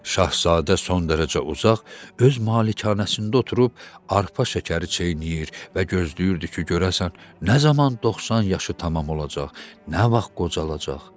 Şahzadə son dərəcə uzaq öz malikanəsində oturub arpa şəkəri çeynəyir və gözləyirdi ki, görəsən nə zaman 90 yaşı tamam olacaq, nə vaxt qocalacaq.